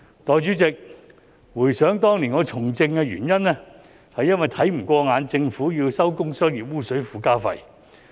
代理主席，回想當年我從政的原因，是看不過眼政府要徵收工商業污水附加費。